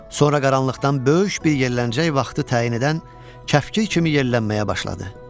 Sonra qaranlıqdan böyük bir yelləncək vaxtı təyin edən kəpkir kimi yellənməyə başladı.